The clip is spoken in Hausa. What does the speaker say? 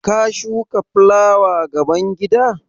Ka shuka fulawa gaban gida?